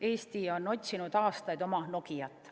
Eesti on otsinud aastaid oma Nokiat.